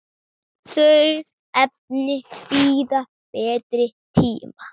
Þau efni bíða betri tíma.